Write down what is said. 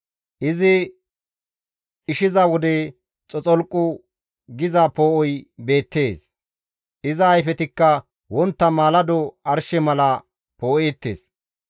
Izi dhishiza wode xoxolqu giza poo7oy beettees; iza ayfetikka wontta maalado arshe mala poo7eettes.